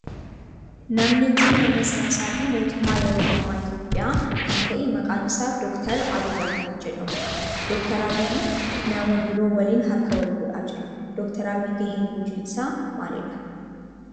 Namni kun nama siyaasaa fi mootummaa yeroo ammaa Itiyoophiyaa kan ta'e maqaan isaa Dr. Abiyi Ahimeed jedhamudha. Dr. Abiyi nama biroo waliin harka waal fuudhaa jira. Dr. Abiyi gaheen hoji isaa maalidha?